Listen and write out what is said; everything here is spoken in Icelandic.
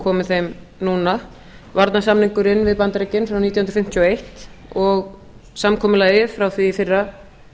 komið þeim núna varnarsamningurinn við bandaríkin frá nítján hundruð fimmtíu og eins og samkomulagið frá því í fyrra